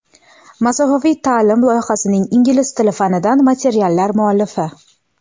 "Masofaviy ta’lim" loyihasining ingliz tili fanidan materiallar muallifi.